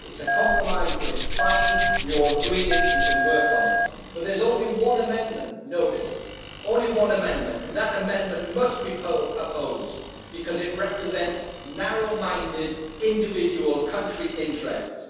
It is a compromise but it is fine, we all agreed it, we can work on it, but there is only one amendment, notice, only one amendment, and that amendment must be opposed because it represents narrow minded individual country interests.